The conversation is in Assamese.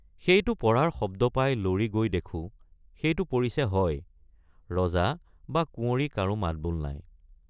সেইটো পৰাৰ শব্দ পাই লৰি গৈ দেখোঁ সেইটে৷ পৰিছে হয় ৰজা বা কুঁৱৰী কাৰো মাতবোল নাই।